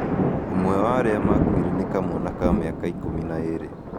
Ũmwe wa arĩa maakuire nĩ kamwana ka mĩaka ikũmi na ĩĩrĩ